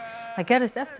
það gerðist eftir